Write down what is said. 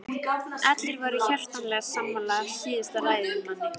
Allir voru hjartanlega sammála síðasta ræðumanni.